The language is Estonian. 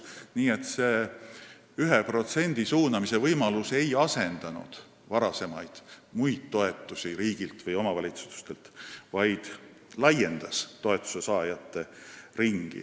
Nii et see 1% suunamise võimalus ei asendanud varasemaid muid toetusi riigilt või omavalitsustelt, vaid laiendas toetuse saajate ringi.